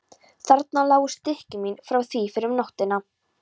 Þarna lágu stykki mín frá því fyrr um nóttina.